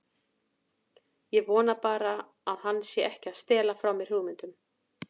Ég vona bara að hann sé ekki að stela frá mér hugmyndum.